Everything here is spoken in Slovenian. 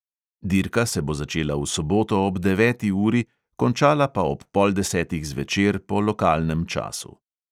Dirka se bo začela v soboto ob deveti uri, končala pa ob pol desetih zvečer po lokalnem času.